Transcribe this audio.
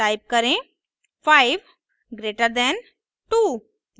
type करें 5 greater than 2